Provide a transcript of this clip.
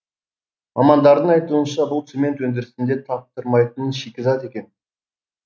мамандардың айтуынша бұл цемент өндірісінде таптырмайтын шикізат екен